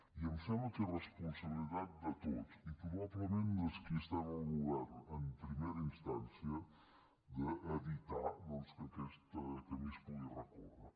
i em sembla que és responsabilitat de tots i probablement dels qui estem al govern en primera instància evitar doncs que aquest camí es pugui recórrer